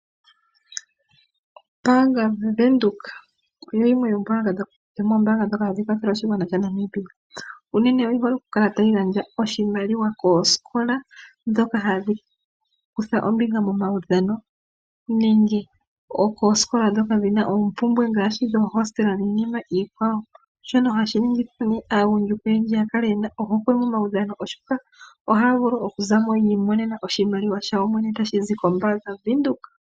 Ombaanga yaVenduka oyo yimwe yomoombaanga ndhoka hadhi kwathele oshigwana shaNamibia. Unene oyi hole okukala tayi gandja oshimaliwa koosikola ndhoka hadhi kutha ombinga momaudhano nenge koosikola ndhoka dhi na oompumbwe ngaashi dhomuhandjo niinima ikwawo, shoka hashi ningi aagundjuka oyendji ya kale ye na ohokwe momaudhano, oshoka ohaya vulu okuza mo yi imonena oshimaliwa shawo yoyene tashi zi koBank Windhoek.